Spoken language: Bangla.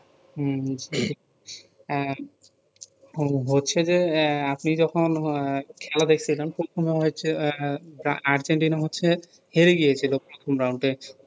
হম বুঝতে পাচ্ছি এহ হো~ হচ্ছে যে এ আপনি যখন খেলা দেখতে যান প্রথমে হয়েছে আর্জেন্টিনা হচ্ছে হেরে গিয়েছিলও প্রথম round এ